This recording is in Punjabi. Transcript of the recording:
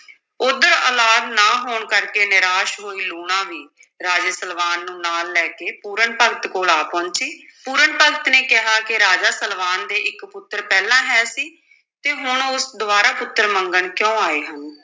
ਉੱਧਰ ਔਲਾਦ ਨਾ ਹੋਣ ਕਰਕੇ ਨਿਰਾਸ਼ ਹੋਈ ਲੂਣਾਂ ਵੀ ਰਾਜੇ ਸਲਵਾਨ ਨੂੰ ਨਾਲ ਲੈ ਕੇ ਪੂਰਨ ਭਗਤ ਕੋਲ ਆ ਪਹੁੰਚੀ, ਪੂਰਨ ਭਗਤ ਨੇ ਕਿਹਾ ਕਿ ਰਾਜਾ ਸਲਵਾਨ ਦੇ ਇਕ ਪੁੱਤਰ ਪਹਿਲਾਂ ਹੈ ਸੀ, ਤੇ ਹੁਣ ਉਹ ਦੁਬਾਰਾ ਪੁੱਤਰ ਮੰਗਣ ਕਿਉਂ ਆਏ ਹਨ?